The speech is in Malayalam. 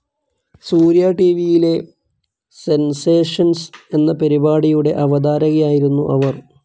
സൂര്യ ടിവിയിലെ സെൻസേഷൻസ്‌ എന്ന പരിപാടിയുടെ അവതാരകയായിരുന്നു അവർ.